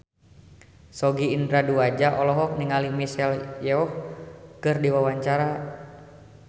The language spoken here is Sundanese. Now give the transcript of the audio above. Sogi Indra Duaja olohok ningali Michelle Yeoh keur diwawancara